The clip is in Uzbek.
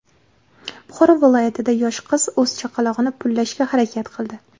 Buxoro viloyatida yosh qiz o‘z chaqlog‘ini pullashga harakat qildi.